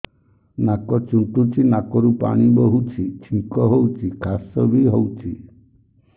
ନାକ ଚୁଣ୍ଟୁଚି ନାକରୁ ପାଣି ବହୁଛି ଛିଙ୍କ ହଉଚି ଖାସ ବି ହଉଚି